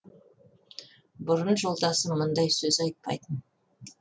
бұрын жолдасы мұндай сөз айтпайтын